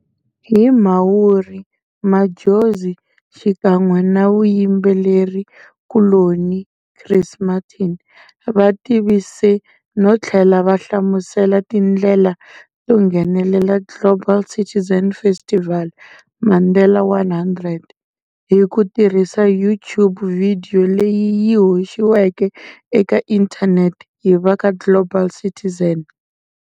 Hi Mhawuri, Madjozi xikan'we na muyimbelerikuloni Chris Martin vativise nothlela va hlamusela tindlela to nghenela Global Citizen Festival-Mandela 100, hi ku tirhisa YouTube vidiyo leyi yi hoxiweke eka inthaneti hi vaka Global Citizen.